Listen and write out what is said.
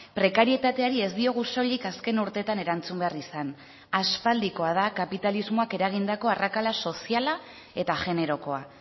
prekarietateari ez diogu soilik azken urteetan erantzun behar izan aspaldikoa da kapitalismoak eragindako arrakala soziala eta generokoa